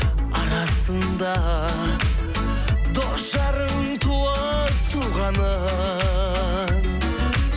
арасында дос жарың туыс туғаның